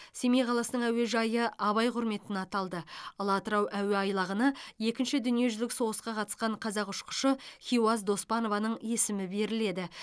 семей қаласының әуежайы абай құрметіне аталды ал атырау әуе айлағына екінші дүниежүзілік соғысқа қатысқан қазақ ұшқышы хиуаз доспанованың есімі беріледі